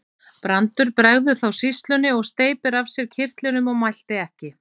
Brandur bregður þá sýslunni og steypir af sér kyrtlinum og mælti ekki.